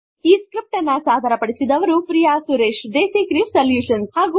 ಈ ಸ್ಕ್ರಿಪ್ಟ್ ಅನ್ನು ಸಾದರಪಡಿಸಿದವರು ಪ್ರಿಯ ಸುರೇಶ ದೇಸಿ ಕ್ರೆವ್ ಸೊಲ್ಯುಶನ್